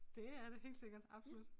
Det er det helt sikkert absolut